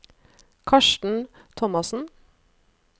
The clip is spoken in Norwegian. Karsten Thomassen